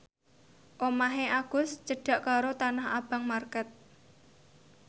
omahe Agus cedhak karo Tanah Abang market